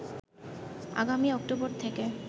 আগামী অক্টোবর থেকে